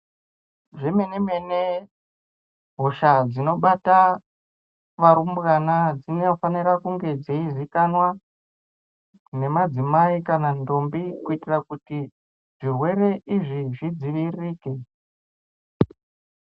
Zvemene-mene hosha dzinobata varumbwana dzinofanira kunge dzeizikanwa nemadzimai kana ndombi kuitira kuti zvirwere izvi zvidziviririke.